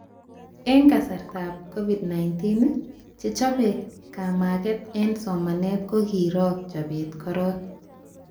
Eng kasartaab COVID-19, chechobe kamaget eng somanet kokiro chobet korok